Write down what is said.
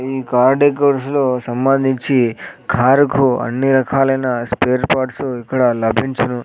ఈ కార్డిగురుసులు సంబంధించి కారుకు అన్నీ రకాలైన స్పేర్ పార్ట్సు ఇక్కడ లభించును.